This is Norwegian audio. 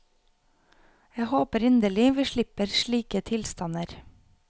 Jeg håper inderlig vi slipper slike tilstander.